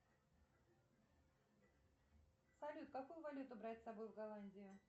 салют какую валюту брать с собой в голландию